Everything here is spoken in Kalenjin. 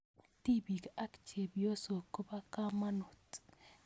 Tipiik ak chepyosok kopo kamonut